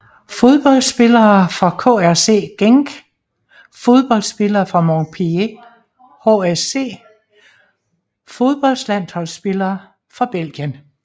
Fodboldspillere fra KRC Genk Fodboldspillere fra Montpellier HSC Fodboldlandsholdsspillere fra Belgien